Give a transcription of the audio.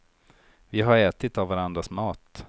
Vi har ätit av varandras mat.